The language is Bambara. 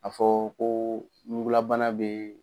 A fɔ ko ɲunugulabana bɛ